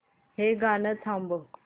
हे गाणं थांबव